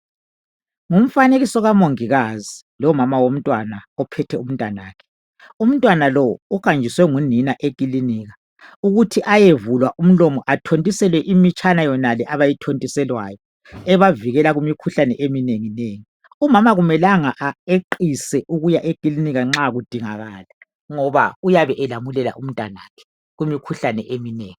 Ngumfanekiso kamongikazi lomama womntwana ophethe umntwana wakhe uhanjiswe ngunina eklinika ukuthi ayevulwa umlomo athontiselwe imitshana yonale ethontiselwayo ebavikela kumkhuhlane eminengi nengi umama akumelanga eqise ukuya eklinika nxa kudinga kala ngoba uyabe elamulela umntwana wakhe kumkhuhlane eminengi